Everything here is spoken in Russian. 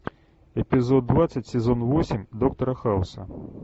эпизод двадцать сезон восемь доктора хауса